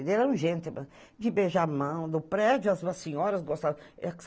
Ele era um glenteman de beijar a mão, no prédio as senhoras gostavam.